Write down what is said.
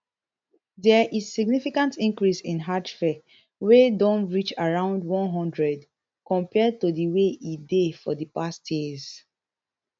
dia is significant increase in hajj fare wey don reach around one hundred compared to di way e dey for di past years